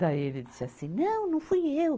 Daí ele disse assim, não, não fui eu.